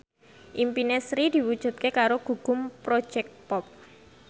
impine Sri diwujudke karo Gugum Project Pop